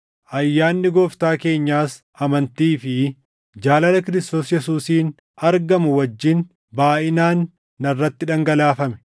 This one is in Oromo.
Ayyaanni Gooftaa keenyaas amantii fi jaalala Kiristoos Yesuusiin argamu wajjin baayʼinaan narratti dhangalaafame.